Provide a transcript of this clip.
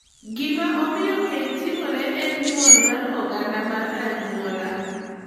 Gima omiyo keny timore en nyuol mar oganda mar anyuola.